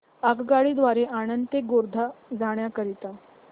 आगगाडी द्वारे आणंद ते गोध्रा जाण्या करीता